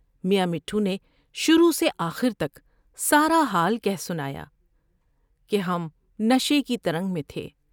میاں مٹھو نے شروع سے آخر تک سارا حال کہہ سنایا کہ ہم نشے کی ترنگ میں تھے ۔